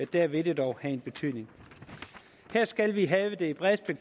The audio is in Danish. der vil det dog have en betydning her skal vi have det brede